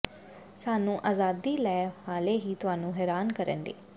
ਸਾਨੂੰ ਆਜ਼ਾਦੀ ਲੈ ਹਾਲੇ ਵੀ ਤੁਹਾਨੂੰ ਹੈਰਾਨ ਕਰਨ ਲਈ